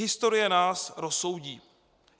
Historie nás rozsoudí.